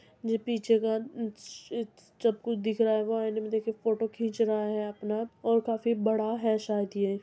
ये पीछे का ज-स चक्कू दिख रहा है। वह आईने मे देख के फोटो खीच रहा है अपना और काफी बड़ा है शायद ये --